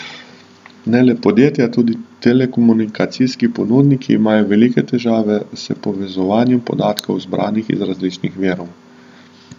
Ne le podjetja, tudi telekomunikacijski ponudniki imajo velike težave s povezovanjem podatkov, zbranih iz različnih virov.